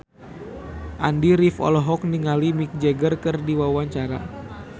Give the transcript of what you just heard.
Andy rif olohok ningali Mick Jagger keur diwawancara